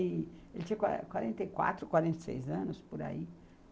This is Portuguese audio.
Ele tinha quarenta e quatro, quarenta e seis anos, por aí.